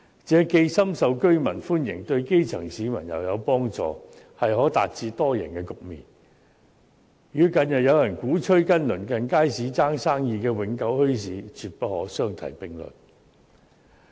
這既深受居民歡迎，對基層市民又有幫助，可達致多贏的局面，與近日有人鼓吹與鄰近街市爭生意的永久墟市，絕不可相提並論。